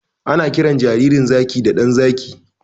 Ana kiran jaririn zaki da 'ɗan zaki'